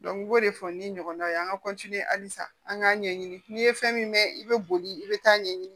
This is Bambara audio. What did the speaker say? i b'o de fɔ ni ɲɔgɔn ye an ka kɔnti ye halisa an k'a ɲɛɲini n'i ye fɛn min mɛn i bɛ boli i bɛ taa ɲɛɲini